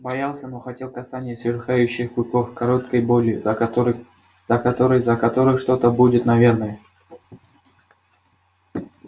боялся но хотел касания сверкающих клыков короткой боли за которой за которой за которой что-то будет наверное